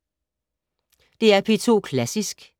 DR P2 Klassisk